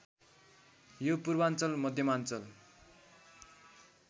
यो पूर्वाञ्चल मध्यमाञ्चल